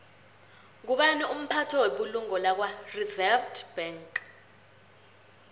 ngubani umphathi webulungo lakwareserve bank